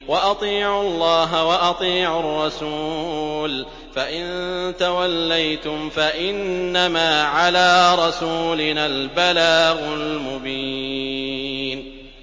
وَأَطِيعُوا اللَّهَ وَأَطِيعُوا الرَّسُولَ ۚ فَإِن تَوَلَّيْتُمْ فَإِنَّمَا عَلَىٰ رَسُولِنَا الْبَلَاغُ الْمُبِينُ